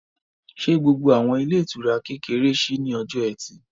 Ṣé gbogbo àwọn ilé ìtura kékeré ṣí ní ọjọ́ ẹtì?